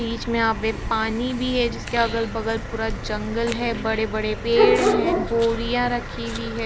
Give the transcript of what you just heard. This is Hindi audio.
बीच में यहाँ पे पानी भी है जिसके अगल-बगल पूरा जंगल है बड़े-बड़े पेड़ है बोरिया रखी हुई है।